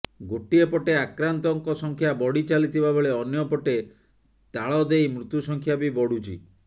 ଗୋଟିଏପଟେ ଆକ୍ରାନ୍ତଙ୍କ ସଂଖ୍ୟା ବଢ଼ି ଚାଲିଥିବା ବେଳେ ଅନ୍ୟପଟେ ତାଳଦେଇ ମୃତ୍ୟୁ ସଂଖ୍ୟା ବି ବଢୁଛି